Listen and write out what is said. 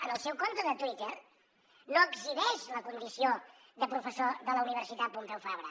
en el seu compte de twitter no exhibeix la condició de professor de la universitat pompeu fabra